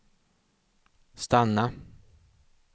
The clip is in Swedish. stanna